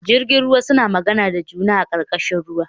Jirjin ruwa suna magana da juna a karkashin ruwa